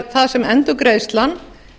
það sem endurgreiðslan